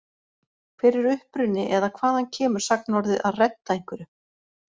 Hver er uppruni eða hvaðan kemur sagnorðið að redda einhverju?